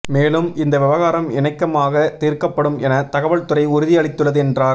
மேலும் இந்த விவகாரம் இணக்கமாக தீர்க்கப்படும் என தகவல்துறை உறுதி அளித்துள்ளது என்றார்